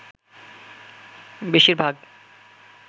বেশির ভাগ